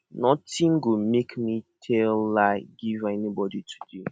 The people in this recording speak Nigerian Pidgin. notin go make me to tell lie give anybodi today